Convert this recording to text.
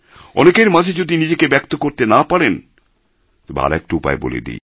অনেকের মাঝে যদি নিজেকে ব্যক্ত করতে না পারেন তবে আরেকটা উপায় বলে দিই